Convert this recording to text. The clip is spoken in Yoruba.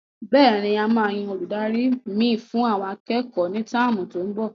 Bẹ́ẹ̀ni,a máa yan Olùdarí mi fún àwọn akẹ́kọ̀ọ́ ni táàmù tó n bò